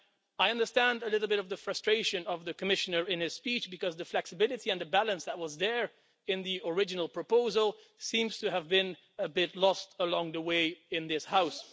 I understand a little bit the frustration of the Commissioner in his speech because the flexibility and the balance that was there in the original proposal seems to have become a bit lost along the way in this House.